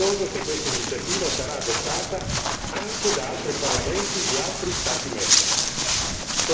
Sono fiducioso che questa iniziativa sarà adottata anche da altri parlamenti di altri Stati membri.